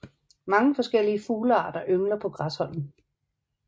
Mange forskellige fuglearter yngler på Græsholm